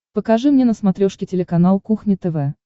покажи мне на смотрешке телеканал кухня тв